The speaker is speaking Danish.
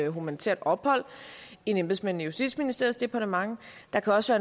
humanitært ophold end embedsmænd i justitsministeriets departement der kan også